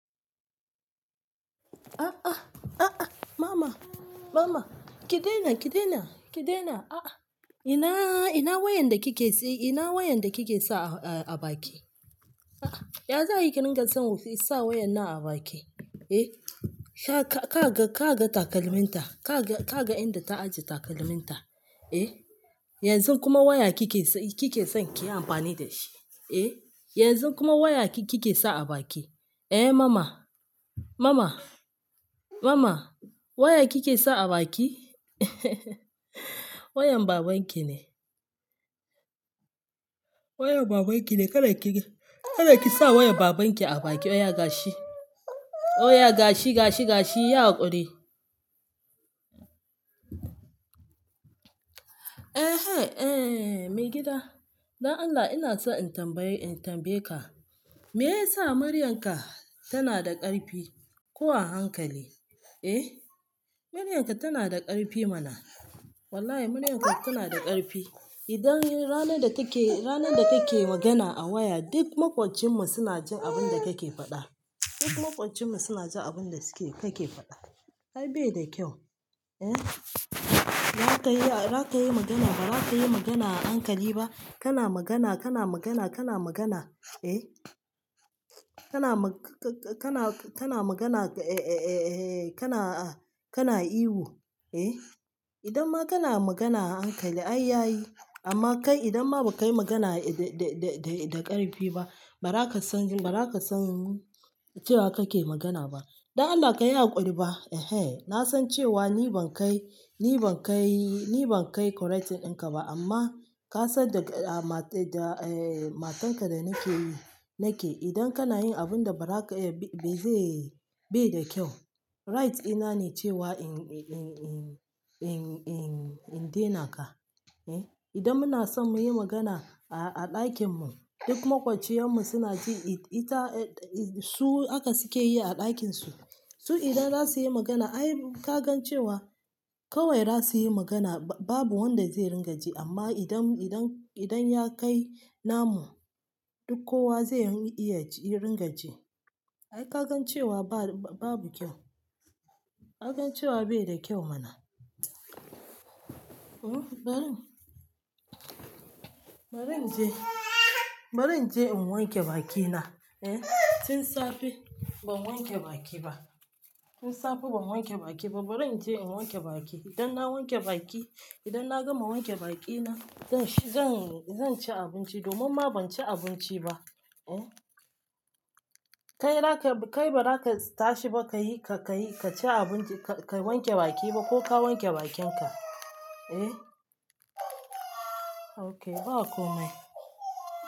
A a, a a mama, mama ki daina, ki daina, ki daina, a a ina, ina wayan da kike si-- ina wayan dakike sa a baki? A a, ya za'ai ki dinga sa wayan nan a baki? Eh, ka, ka ga, ka ga takalmin ta, kaga, kaga inda ta ajiye takalminta, eh? Yanzu kuma waya kike, kikeson kiyi amfani da shi, eh? Yanzu kuma waya ki kike sa a baki. Eh mama, mama, mama waya kike sa a baki? Wayan babanki ne. Wayan babanki ne, kada kisa wayan babanki abaki, waya gashi, waya gashi, gashi, gashi, yi haƙuri. Ehen, eh maigida, don Allah inaso in tambaye, in tambaye ka, me yasa muryanka tanada ƙarfi ko a hankali? Eh, muryanka tanada ƙarfi mana. Wallahi maryanka tanada ƙarfi. Idan ranar datake, ranar datake magana a waya duk maƙocinmu suna jin abunda kake faɗa. Duk maƙocinmu suna jin abunda suke-- kake faɗa. Ai baida kyau, eh. Baza kayi, baza kayi magana ba, baza kayi magana a hankali ba. Kana magana, kana magana, kana magana, eh. Kana ma-ka-ka-kana, kana magana, e-e-e-e kana, ah, kana ihu, eh. Idan ma kana magana a hankali ai yayi, amma kai idan ma bakayi magana da-da-da ƙarfi ba, baza kasan baza kasan cewa kake magana ba. Don Allah kayi yaƙuri ba, ehen. Nasan cewa ni ban kai, ni ban kai, ni ban kai correcting in ka ba amma kasan da mat-- da, eh, matanka da nakeyi, nake idan kanayin abunda baza ka, bai zai, baida kyau. Right dina ne cewa in-in-in-in-in-in-in dena ka, eh. Idan munasom muyi magana a-a ɗakinmu duk maƙociyar mu suna ji, ita, su haka sukeyi a ɗakinsu. Su idan za su yi magana ai ka gan cewa kawai zasu yi magana babu wanda zai ringa ji amma idan, idan, idan yakai namu duk kowa zai iya ringa ji. Ai ka gan cewa babu kyau. Ka gan cewa bai da kyau mana. Hmm, bari, bari inje, bari inje in wanke bakina, eh. Tun safe ban wanke baki ba. Tun safe ban wanke baki ba, bari inje in wanke baki. Idan na wanke baki, idan na gama wanke bakina zan, zan, zan ci abinci domin ma banci abinci ba, eh. Kai baza ka tashi ba kayi, kayi, kaci abinci, ka wanke baki ba ko ka wanke bakinka, eh? Okay, bakomai.